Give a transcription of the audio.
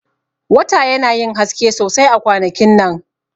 Wata yana yin haske sosai a kwanakin nan.